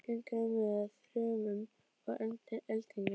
Gengur á með þrumum og eldingum.